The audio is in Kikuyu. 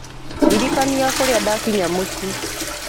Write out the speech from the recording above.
ndirikania kũrĩa ndakinya mũciĩ